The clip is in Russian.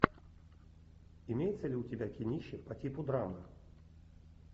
имеется ли у тебя кинище по типу драмы